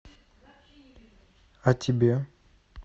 а тебе